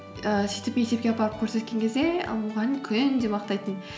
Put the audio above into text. ііі сөйтіп мектепке апарып көрсеткен кезде мұғалім күнде мақтайтын